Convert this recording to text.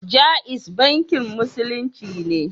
Jaiz bankin Musulunci ne.